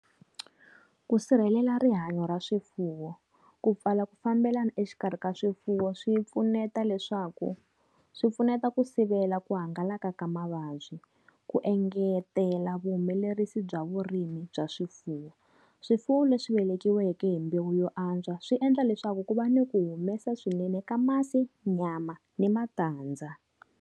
Ku sirhelela rihanyo ra swifuwo. Ku pfala ku fambelana exikarhi ka swifuwo swi pfuneta leswaku, swi pfuneta ku sivela ku hangalaka ka mavabyi. Ku engetela vuhumelerisi bya vurimi bya swifuwo. Swifuwo leswi vekiweke hi mbewu yo antswa swi endla leswaku ku va ni ku humesa swinene ka masi, nyama, ni matandza.